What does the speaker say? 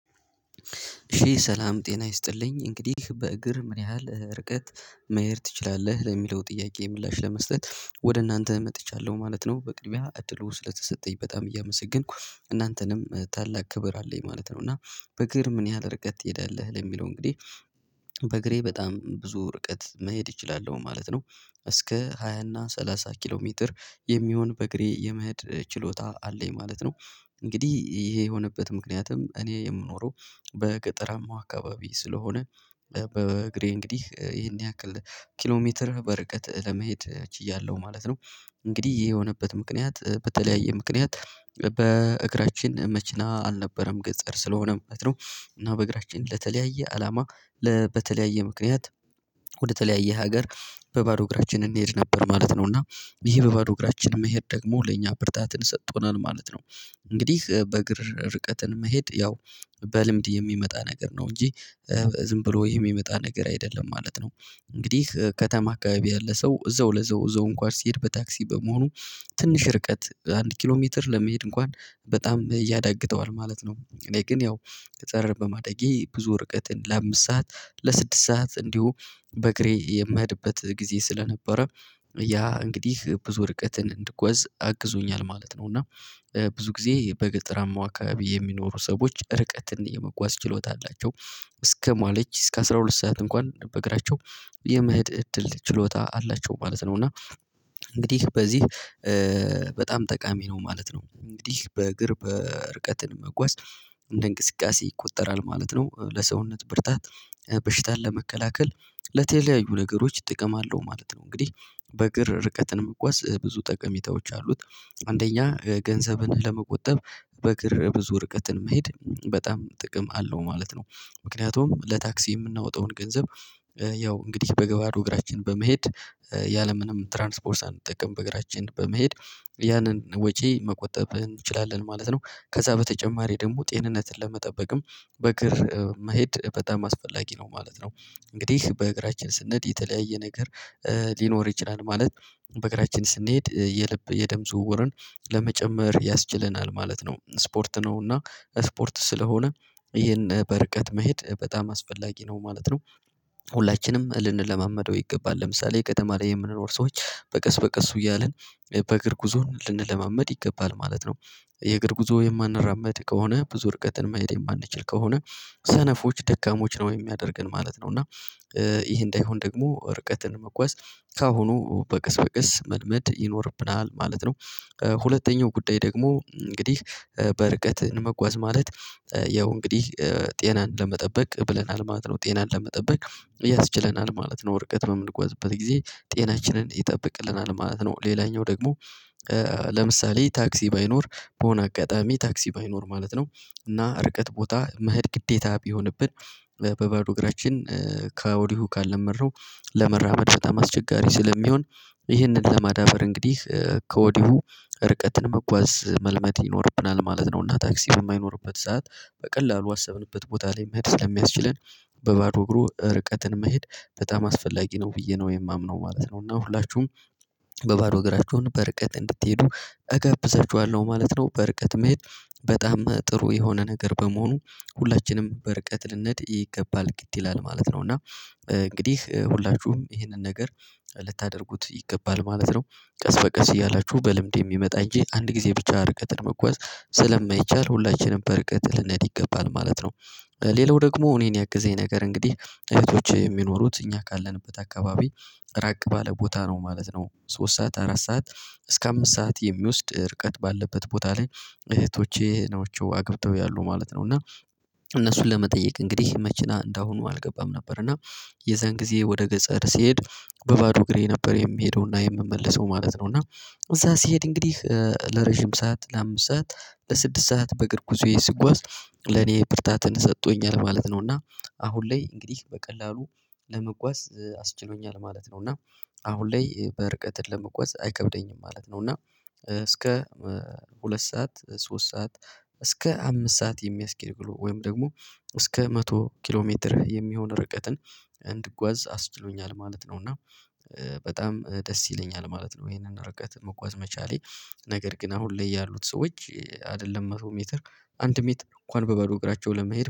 ሺህ ሰላም ጤና ይስጥልኝ እንግዲህ በእግር ምን ያህል ርቀት? መሄድ ትችላለህ ለሚለው ጥያቄ ምላሽ ለመስጠት ወደ እናንተ መጥቻለሁ ማለት ነው። በቅድሚያ እድሉ ስለተሰጠኝ በጣም እያመሰገንኩ እናንተንም ታላቅ ክብር አለኝ ማለት ነው። እና በእግር ምን ያህል ርቀት ትሄዳለህ ለሚለው እንግዲህ በእግሬ በጣም ብዙ እርቀት መሄድ እችላለሁ ማለት ነው። እስከ ሃያ እና ሰላሳ ኪሎ ሜትር የሚሆን በእግሬ የመሄድ ችሎታ አለኝ ማለት ነው። እንግዲህ ይሄ የሆነበት ምክንያትም እኔ የምኖረው በገጠራማው አካባቢ ስለሆነ በእግሬ እንግዲህ ይሄን ያክል ኪሎ ሜትር በረቀት ለመሄድ ችያለሁ ማለት ነው። እንግዲህ ይህ የሆነበት ምክንያት በተለያየ ምክንያት በእግራችን መኪና አልነበረም ገጠር ስለሆነ ማለት ነው። እና በእግራችን ለተለያየ አላማ በተለያየ ምክንያት ወደ ተለያየ ሀገር በባዶ እግራችን እንሄድ ነበር ማለት ነው። እና ይህ በባዶ እግራችን መሄድ ደግሞ ለኛ ብርታትን ሰጥቶናል ማለት ነው። እንግዲህ በእግር ርቀትን መሄድ ያው በልምድ የሚመጣ ነገር ነው እንጂ ዝም ብሎ የሚመጣ ነገር አይደለም ማለት ነው። እንግዲህ ከተማ አካባቢ ያለ ሰው እዛው ለዘው እዛው እንኳን ሲሄድ በታክሲ በመሆኑ ትንሽ ርቀት አንድ ኪሎ ሜትር ለመሄድ እንኳን በጣም ያዳግተዋል ማለት ነው። እኔ ግን ያው ገጠር በማዳጌ ብዙ እርቀትን ለአምስት ሰዓት ለስድስት ሰዓት እንዲሁ በእግሬ የምሄድበት ጊዜ ስለነበረ ያ እንግዲህ ብዙ እርቀትን እንድጓዝ አግዞኛል ማለት ነው። እና ብዙ ጊዜ በገጠራማው አካባቢ የሚኖሩ ሰዎች ርቀትን እየመጓዝ ችሎታ አላቸው እስከ ማለች እስከ አስራ ሁለት ሰዓት እንኳን በእግራቸው የመሄድ እድል ችሎታ አላቸው ማለት ነው። እና እንግዲህ በዚህ በጣም ጠቃሚ ነው ማለት ነው እንግዲህ በእግር እርቀትን መጓዝ እንደ እንቅስቃሴ ይቆጠራል ማለት ነው። ለሰውነት ብርታት በሽታን ለመከላከል ለተለያዩ ነገሮች ጥቅም አለው ማለት ነው። እንግዲህ በእግር ርቀትን መጓዝ ብዙ ጠቀሜታዎች አሉት። አንደኛ ገንዘብን ለመቆጠብ በእግር ብዙ እርቀትን መሄድ በጣም ጥቅም አለው ማለት ነው። ምክንያቱም ለታክሲ የምናወጣውን ገንዘብ ያው እንግዲህ በባዶ እግራችን በመሄድ ያለ ምንም ትራንስፖርት ሳንጠቀም በእግራችን በመሄድ ያንን ወጪ መቆጠብ እንችላለን ማለት ነው። ከዛ በተጨማሪ ደግሞ ጤንነትን ለመጠበቅም በእግር መሄድ በጣም አስፈላጊ ነው ማለት ነው። እንግዲህ በእግራችን ስንሄድ የተለያየ ነገር ሊኖር ይችላል ማለት በእግራችን ስንሄድ የልብ የደም ዝውውርን ለመጨመር ያስችለናል ማለት ነው። ስፖርት ነው እና ስፖርት ስለሆነ ይህን በርቀት መሄድ በጣም አስፈላጊ ነው ማለት ነው። ሁላችንም ልንለማመደው ይገባል ለምሳሌ ከተማ ላይ የምንኖር ሰዎች በቀስ በቀስ እያልን በእግር ጉዞ ልንለማመድ ይገባል ማለት ነው። የእግር ጉዞ የማንራመድ ከሆነ ብዙ እርቀትን መሄድ የማንችል ከሆነ ሰነፎች ደካሞች ነው የሚያደርገን ማለት ነው። እና ይሄ እንዳይሆን ደግሞ ርቀትን መጓዝ ከአሁኑ በቀስ በቀስ መልመድ ይኖርብናል ማለት ነው። ሁለተኛው ጉዳይ ደግሞ እንግዲህ በርቀት መጓዝ ማለት ያው እንግዲህ ጤናን ለመጠበቅ ብለናል ማለት ነው ጤናን ለመጠበቅ ያስችለናል ማለት ነው። ወርቀት የምንጎዝበት ጊዜ ጤናችንን ይጠብቅልናል ማለት ነው። ሌላኛው ደግሞ ለምሳሌ ታክሲ ባይኖር በሆነ አጋጣሚ ታክሲ ባይኖር ማለት ነው። እና ርቀት ቦታ መሄድ ግዴታ ቢሆንብን በባዶ እግራችን ከወዲሁ ካልለመድነው ለመራመድ በጣም አስቸጋሪ ስለሚሆን ይህንን ለማዳበር እንግዲህ ከወዲሁ እርቀትን መጓዝ መልመድ ይኖርብናል ማለት ነው። እና ታክሲ በማይኖርበት ሰዓት በቀላሉ ባሰብንበት ቦታ ላይ መሄድ ስለሚያስችለን በባዶ እግሩ ርቀትን መሄድ በጣም አስፈላጊ ነው ብዬ ነው የማምነው ማለት ነው። እና ሁላችሁም በባዶ እግራችሁን በርቀት እንድትሄዱ እገብዛችኋለሁ ማለት ነው። በርቀት መሄድ በጣም ጥሩ የሆነ ነገር በመሆኑ ሁላችንም በርቀት ልንድ ይገባል ግድ ይላል ማለት ነው። እና እንግዲህ ሁላችሁም ይህንን ነገር ልታደርጉት ይገባል ማለት ነው። ቀስ በቀስ እያላችሁ በልምድ የሚመጣ እንጂ አንድ ጊዜ ብቻ እርቀትን መጓዝ ስለማይቻል ሁላችንም በርቀት ልንሄድ ይገባል ማለት ነው። ሌላው ደግሞ እኔን ያገዘኝ ነገር እንግዲህ እህቶቼ የሚኖሩት እኛ ካለንበት አካባቢ ራቅ ባለ ቦታ ነው ማለት ነው። ሶስት ሰዓት አራት ሰዓት እስከ አምስት ሰዓት የሚወስድ ርቀት ባለበት ቦታ ላይ እህቶቼ ናቸው አግብተው ያሉ ማለት ነው። እና እነሱን ለመጠየቅ እንግዲህ መኪና እንደሁኑ አልገባም ነበር እና የዛን ጊዜ ወደ ገጠር ስሄድ በባዶ እግሬ ነበር የምሄደውና የምመለሰው ማለት ነው። እና እዛ ስሄድ እንግዲህ ለረጅም ሰዓት ለአምስት ሰዓት ለስድስት ሰዓት በእግር ጉዞዬ ስጓዝ ለኔ ብርታትን ሰጥቶኛል ማለት ነው። እና አሁን ላይ እንግዲህ በቀላሉ ለመጓዝ አስችሎኛል ማለት ነው። እና አሁን ላይ በርቀትን ለመጓዝ አይከብደኝም ማለት ነው። እና እስከ ሁለት ሰዓት ሶስት ሰዓት እስከ አምስት ሰዓት የሚያስኬድ ብሎ ወይም ደግሞ እስከ መቶ ኪሎ ሜትር የሚሆን እርቀትን እንድጓዝ አስችሎኛል ማለት ነው። እና በጣም ደስ ይለኛል ማለት ነው። ይሄንን እርቀት መጓዝ መቻሌ ነገር ግን አሁን ላይ ያሉት ሰዎች አይደለም መቶ ሜትር አንድ ሜትር እንኳን በባዶ እግራቸው ለመሄድ